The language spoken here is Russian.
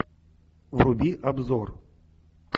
вруби обзор